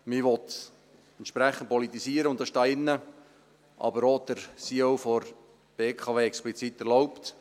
Man will es entsprechend politisieren, und das ist hier drin, aber auch der CEO der BKW, explizit erlaubt.